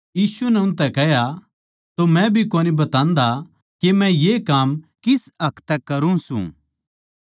यीशु नै उनतै कह्या तो मै भी कोनी बतान्दा के मै ये काम किस हक तै करूँ सूं